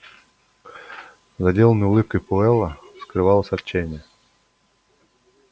за деланной улыбкой пауэлла скрывалось отчаяние